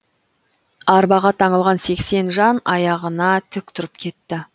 арбаға таңылған сексен жан аяғына тік тұрып кетті